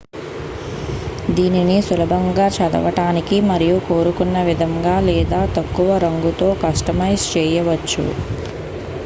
దీనిని సులభంగా చదవడానికి మరియు కోరుకున్నవిధంగా లేదా తక్కువ రంగుతో కస్టమైజ్ చేయవచ్చు